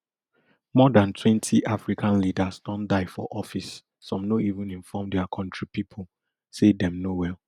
more dan twenty african leaders don die for office some no even inform dia kontri pipo say dem no well